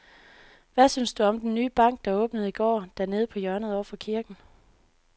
Hvad synes du om den nye bank, der åbnede i går dernede på hjørnet over for kirken?